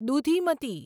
Dudhimati